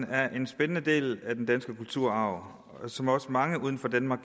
er en spændende del af den danske kulturarv som også mange uden for danmark